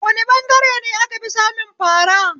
Wane ɓangare ne a kafi samun fara?